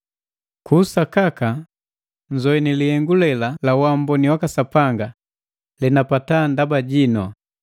Ku sakaka nzoini lihengu lela la waamboni Sapanga, lenapata ndaba jinu,